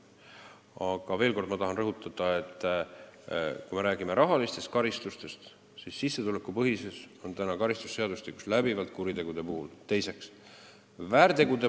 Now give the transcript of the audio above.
Aga ma tahan veel kord rõhutada, et kui me räägime rahalistest karistustest, siis sissetulekupõhisus on karistusseadustikus kuritegude eest läbivalt ette nähtud.